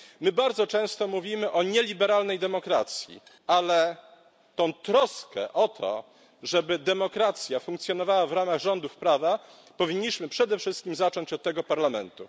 My bardzo często mówimy o nieliberalnej demokracji, ale tę troskę o to, żeby demokracja funkcjonowała w ramach rządów prawa, powinniśmy przede wszystkim zacząć od tego Parlamentu.